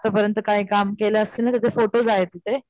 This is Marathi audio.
आत्ता परियंत काय काम केले असतील ना त्याचे फोटोस आहेत तिथे.